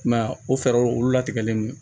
I m'a ye o fɛɛrɛw olu latigɛlen don